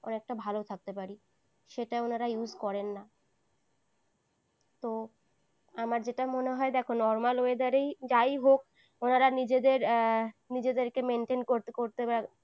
অনেকটা ভালো থাকতে পারি। সেটা ওনারা use করেন না। তো আমার যেটা মনে হয় দেখো normal weather এ যাই হোক ওনারা নিজেদের নিজেদেরকে maintain করতে করতে